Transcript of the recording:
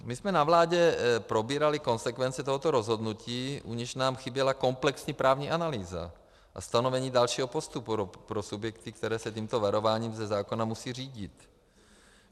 My jsme na vládě probírali konsekvence tohoto rozhodnutí, u nichž nám chyběla komplexní právní analýza a stanovení dalšího postupu pro subjekty, které se tímto varováním ze zákona musejí řídit.